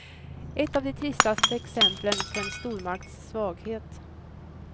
Ett av de tristaste exemplen på en stormakts svaghet.